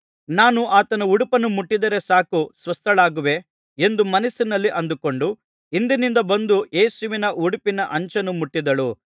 ನಾನು ಆತನ ಉಡುಪನ್ನು ಮುಟ್ಟಿದರೆ ಸಾಕು ಸ್ವಸ್ಥಳಾಗುವೆ ಎಂದು ಮನಸ್ಸಿನಲ್ಲಿ ಅಂದುಕೊಂಡು ಹಿಂದಿನಿಂದ ಬಂದು ಯೇಸುವಿನ ಉಡುಪಿನ ಅಂಚನ್ನು ಮುಟ್ಟಿದಳು